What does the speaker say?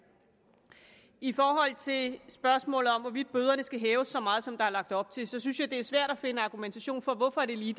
i forhold til spørgsmålet om hvorvidt bøderne skal hæves så meget som der er lagt op til synes jeg det er svært at finde argumentation for hvorfor det lige